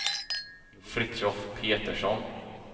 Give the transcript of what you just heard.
Fritiof Petersson